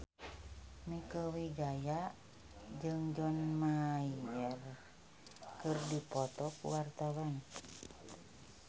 Mieke Wijaya jeung John Mayer keur dipoto ku wartawan